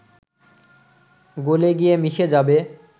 গলে গিয়ে মিশে যাবে